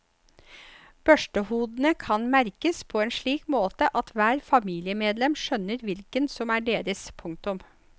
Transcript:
Børstehodene kan merkes på en slik måte at hvert familiemedlem skjønner hvilket som er deres. punktum